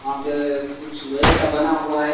वहा पे अ कुछ लोहे का बना हुआ हैं जो--